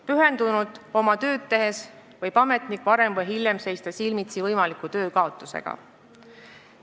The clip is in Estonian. Pühendunult oma tööd tehes võib ametnik varem või hiljem seista silmitsi võimaliku töökaotusega.